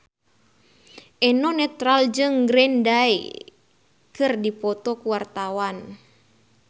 Eno Netral jeung Green Day keur dipoto ku wartawan